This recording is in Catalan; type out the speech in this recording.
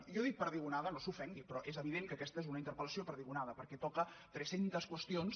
jo dic perdigonada no s’ofengui però és evident que aquesta és una interpel·lació perdigonada perquè toca tres centes qüestions